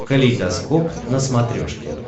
калейдоскоп на смотрешке